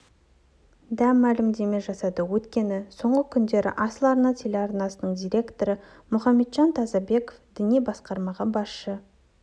да мәлімдеме жасады өйткені соңғы күндері асыл арна телеарнасының директоры мұхамеджан тазабеков діни басқармаға басшы